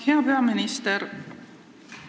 Hea peaminister!